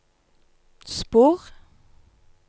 spor